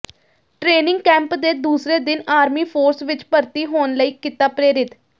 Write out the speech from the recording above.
training camp ਦੇ ਦੂਸਰੇ ਦਿਨ ਆਰਮੀ ਫ਼ੋਰਸ ਵਿਚ ਭਰਤੀ ਹੋਣ ਲਈ ਕੀਤਾ ਪ੍ਰੇਰਿਤ